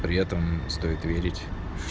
при этом стоит верить